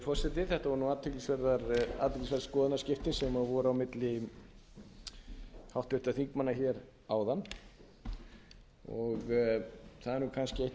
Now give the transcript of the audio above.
forseti þetta voru athyglisverð skoðanaskipti sem voru á milli háttvirtra þingmanna hér áðan það er kannski eitt af